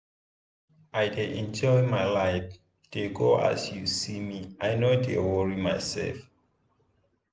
i dey enjoy my life dey go as you see me i no dey worry myself.